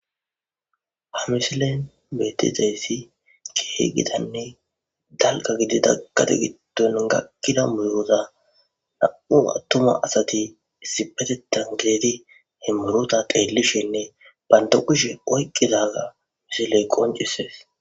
Ha misilen bettizayssi keeh gitanne dalka gididakate gitton gakkida muyoza na7u attuma asati issipetetan kieti he murota qeellishinne banto kishe oyqqidaga misiley qoncisees